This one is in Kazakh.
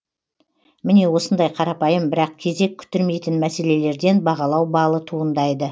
міне осындай қарапайым бірақ кезек күттірмейтін мәселелерден бағалау балы туындайды